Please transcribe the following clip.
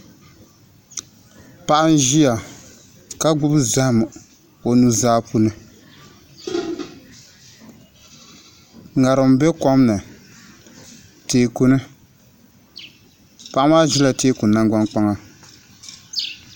Paɣa n ʒiya ka gbubi zaham o nuzaa polo ŋarim bɛ kom ni teeku ni paɣa maa ʒila teeku nangbani kpaŋa